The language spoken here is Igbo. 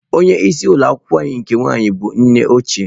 Onye isi ụlọ akwụkwọ anyị nke nwaanyị bụ nne ochie